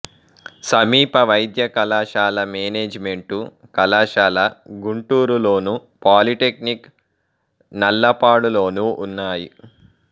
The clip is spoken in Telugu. సమీప వైద్య కళాశాల మేనేజిమెంటు కళాశాల గుంటూరులోను పాలీటెక్నిక్ నల్లపాడులోనూ ఉన్నాయి